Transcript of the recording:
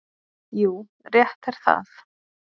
Jú, rétt er það.